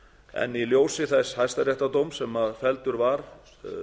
en í ljósi þess hæstaréttardóms sem felldur var